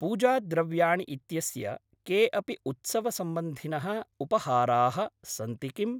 पूजा द्रव्याणि इत्यस्य के अपि उत्सवसम्बन्धिनः उपहाराः सन्ति किम्?